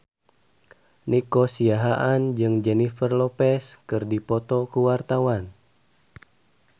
Nico Siahaan jeung Jennifer Lopez keur dipoto ku wartawan